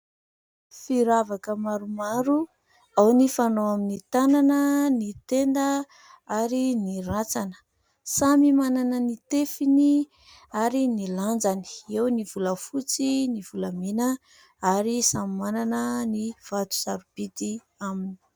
Firavaka maromaro ao ny fanao aminy tanana, ny tenda ary ny rantsana. Samy manana ny tefiny ary ny lanjany, eo ny volafotsy, ny volamena ary samy manana ny vato sarobidy aminy.